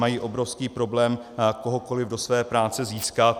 Mají obrovský problém kohokoliv do své práce získat.